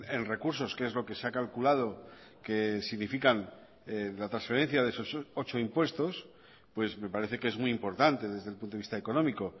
en recursos que es lo que se ha calculado que significan la transferencia de esos ocho impuestos pues me parece que es muy importante desde el punto de vista económico